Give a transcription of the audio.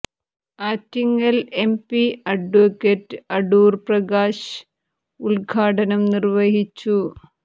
Attingal M P അഡ്വ അടൂർ പ്രകാശ് ഉദ്ഘാടനം നിർവഹിച്ചു